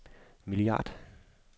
milliard